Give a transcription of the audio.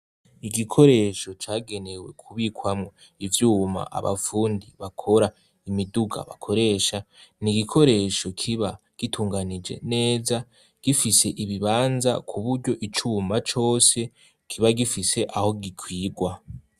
Igikoresho cagenewe kubikwamwo ivyuma abapfundi bakora imiduga bakoresha ni igikoresho kiba gitunganije neza gifise ibibanza ku buryo icuma cose kiba gifise aho gikwirwa.